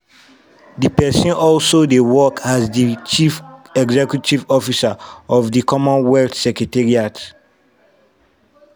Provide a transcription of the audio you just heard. di pesin also dey work as di chief executive officer of di commonwealth secretariat.